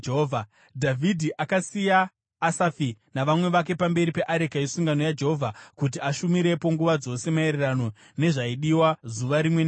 Dhavhidhi akasiya Asafi navamwe vake pamberi peareka yesungano yaJehovha kuti ashumirepo nguva dzose maererano nezvaidiwa zuva rimwe nerimwe.